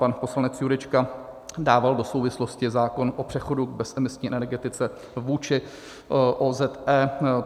Pan poslanec Jurečka dával do souvislosti zákon o přechodu k bezemisní energetice vůči OZE.